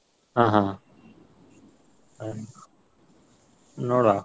ಹಾ ಹಾ ಹಾ. ನೋಡ್ವ.